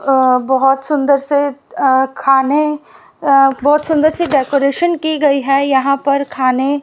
अ बहोत सुंदर से अ खाने अ बहोत सुंदर सी डेकोरेशन की गई है यहां पर खाने --